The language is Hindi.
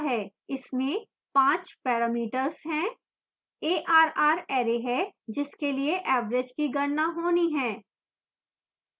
इसमें पाँच parameters हैं